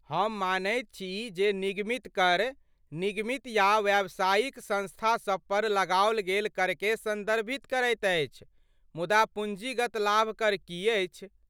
हम मानैत छी जे निगमित कर निगमित या व्यावसायिक संस्थासभ पर लगाओल गेल करकेँ संदर्भित करैत अछि मुदा पूंजीगत लाभ कर की अछि?